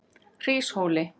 Hríshóli